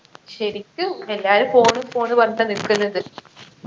ശരിക്കും എല്ലാരും phone phone പറഞ്ഞിട്ടാ നിക്കുന്നത്